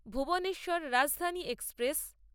Bhuvneshwar Rajdhani express